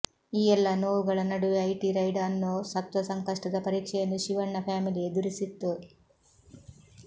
ಈ ಎಲ್ಲಾ ನೋವುಗಳ ನಡುವೆ ಐಟಿ ರೈಡ್ ಅನ್ನೋ ಸತ್ವ ಸಂಕಷ್ಟದ ಪರೀಕ್ಷೆಯನ್ನು ಶಿವಣ್ಣ ಫ್ಯಾಮಿಲಿ ಎದುರಿಸಿತ್ತು